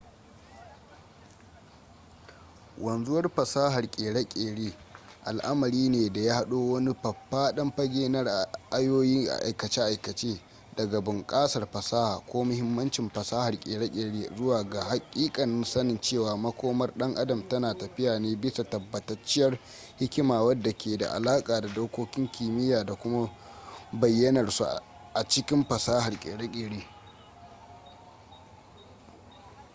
wanzuwar fasahar ƙere-ƙere al'amari ne da ya haɗo wani faffaɗan fage na ra'ayoyi a aikace daga bunƙasar fasaha ko muhimmancin fasahar ƙere-ƙere zuwa ga haƙiƙanin sanin cewa makomar dan adam tana tafiya ne bisa tabbatacciyar hikima wadda ke da alaƙa da dokokin kimiyya da kuma bayyanar su a cikin fasahar ƙere-ƙere